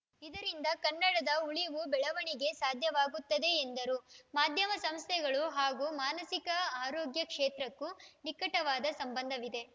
ಇದರಿಂದ ಕನ್ನಡದ ಉಳಿವು ಬೆಳವಣಿಗೆ ಸಾಧ್ಯವಾಗುತ್ತದೆ ಎಂದರು ಮಾಧ್ಯಮ ಸಂಸ್ಥೆಗಳು ಹಾಗೂ ಮಾನಸಿಕ ಆರೋಗ್ಯ ಕ್ಷೇತ್ರಕ್ಕೂ ನಿಕಟವಾದ ಸಂಬಂಧವಿದೆ